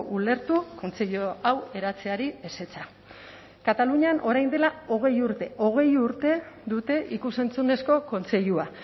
ulertu kontseilu hau eratzeari ezetza katalunian orain dela hogei urte hogei urte dute ikus entzunezko kontseilua